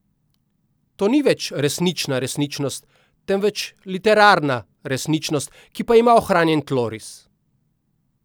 To ni več resnična resničnost, temveč literarna resničnost, ki pa ima ohranjen tloris.